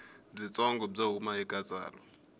byitsongo byo huma eka tsalwa